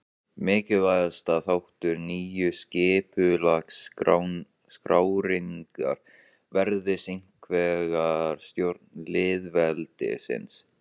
Mikilvægasti þáttur nýju skipulagsskrárinnar varðaði hinsvegar stjórn lýðveldisins.